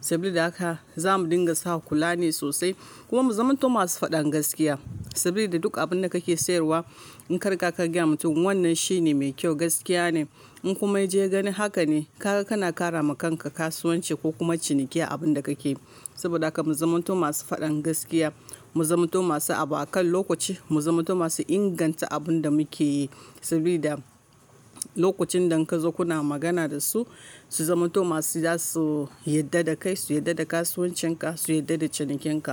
Sabilida haka za mu dinga sa kula ne sosai. Kuma mu zamanto masu faɗan gaskiya sabilida duk abin da kake sayarwa, in kari ga kagaya wa mutum, wannan shine mai kyau, gaskiya ne. In kuma ya je gani haka ne, ka, kana ƙara ma kanka kasuwanci ko kuma ciniki abin da kake yi. Saboda haka mu zamanto masu faɗan gaskiya, mu zamanto masu abu a kan lokaci, mu zamanto masu inganta abun da muke yi. Sabida lokacin da kazo kuna magana da su, su zamanto masu za su yadda da kai, su yadda da kasuwancin ka, su yadda da ciniken ka.